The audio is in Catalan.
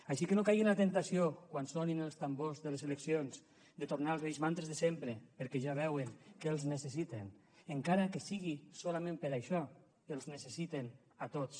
així que no caigui en la temptació quan sonin els tambors de les eleccions de tornar als vells mantres de sempre perquè ja veuen que els necessiten encara que sigui solament per a això els necessiten a tots